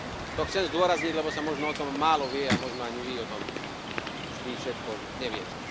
To chcem zdôrazniť, lebo sa možno o tom málo vie a možno ani vy o tom vždy všetko neviete.